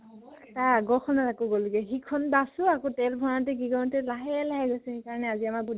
তাৰ আগৰ খনৰ আকৌ গলগে সিখন bus ও আকৌ তেল ভৰাওতে কি কৰোতে লাহে লাহে গৈছে। সেই কাৰণে আজি আমাৰ